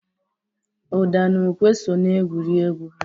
Ụda na ukwe so n'egwuregwu ha.